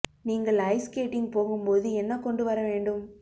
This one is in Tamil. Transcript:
நீங்கள் ஐஸ் ஸ்கேட்டிங் போகும் போது என்ன கொண்டு வர வேண்டும்